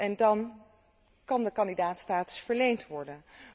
En dan kan de kandidaatsstatus verleend worden.